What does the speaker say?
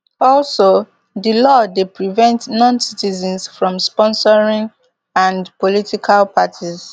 also di law dey prevent noncitizens from sponsoring and political parties